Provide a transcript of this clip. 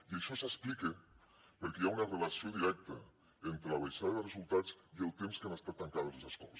i això s’explica perquè hi ha una relació directa entre la baixada de resultats i el temps que han estat tancades les escoles